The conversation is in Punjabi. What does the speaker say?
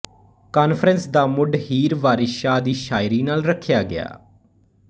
ਕਾਨਫ਼ਰੰਸ ਦਾ ਮੁੱਢ ਹੀਰ ਵਾਰਿਸ ਸ਼ਾਹ ਦੀ ਸ਼ਾਇਰੀ ਨਾਲ ਰੱਖਿਆ ਗਿਆ